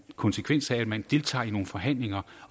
konsekvens af at man deltager i nogle forhandlinger